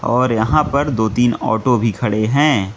और यहां पर दो तीन ऑटो भी खड़े हैं।